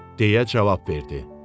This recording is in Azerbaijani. Deyə cavab verdi.